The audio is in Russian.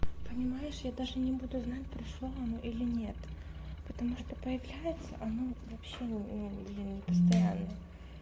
понимаешь я даже не буду знать прошла она или нет потому что появляется она вообще ну блин не постоянно